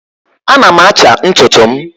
ana m acha ntutu m